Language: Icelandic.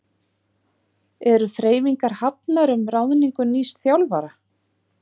Eru þreifingar hafnar um ráðningu nýs þjálfara?